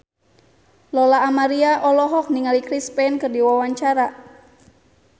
Lola Amaria olohok ningali Chris Pane keur diwawancara